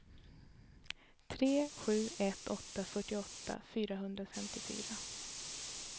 tre sju ett åtta fyrtioåtta fyrahundrafemtiofyra